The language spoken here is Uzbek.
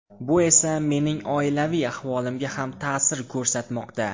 Bu esa mening oilaviy ahvolimga ham ta’sir ko‘rsatmoqda.